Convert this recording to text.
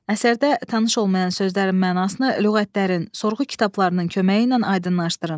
Əsərdə tanış olmayan sözlərin mənasını lüğətlərin, sorğu kitablarının köməyi ilə aydınlaşdırın.